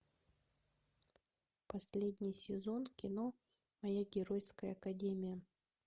последний сезон кино моя геройская академия